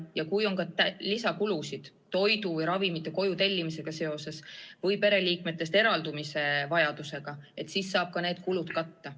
Ja kui on ka lisakulusid toidu ja ravimite koju tellimisega seoses või pereliikmetest eraldumise vajadusega, siis saab ka need kulud katta.